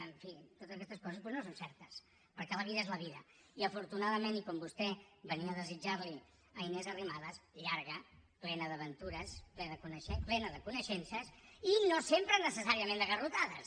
en fi totes questes coses doncs no són certes perquè la vida és la vida i afortunadament i com vostè venia a desitjarli a inés arrimadas llarga plena d’aventures plena de coneixences i no sempre necessàriament de garrotades